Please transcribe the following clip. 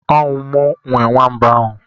Ọwu mụ nwe nwamba ahụ?